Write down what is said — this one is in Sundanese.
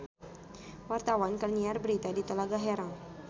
Wartawan keur nyiar berita di Talaga Herang